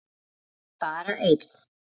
Bara einn.